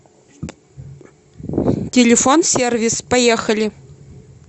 телефон сервис поехали